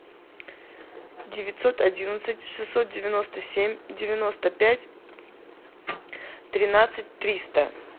девятьсот одиннадцать шестьсот девяносто семь девяносто пять тринадцать триста